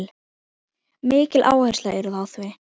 Mikil áhersla er á þau.